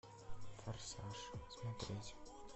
форсаж смотреть